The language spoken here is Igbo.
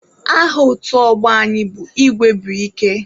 Aha otu ọgbọ anyị bụ Igwe bu ike.